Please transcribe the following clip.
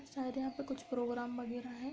शायद यहाँ पे कुछ प्रोग्राम बगेरा है।